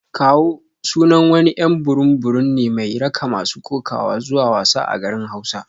"Kawo" sunan wani y'an burum burum ne mai raka masu kokawa zuwa wasa a garin hausa.